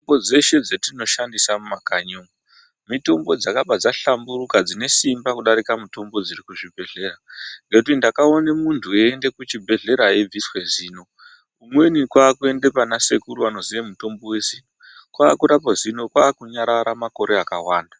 Mitombo dzeshe dzatinoshandisa mumakanyi umu mitombo dzakabva dzahlamburuka dzine simba kudarika mutombo dzirikuzvibhedhlera nekuti ndakaona muntu eienda kuchibhedhlera eibviswe zino umweni kwakuenda pana sekuru anoziye mutombo wezino kwakurapwa zino kwakunyarara makore akawanda .